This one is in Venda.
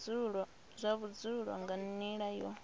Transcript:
zwa vhudzulo nga nila yo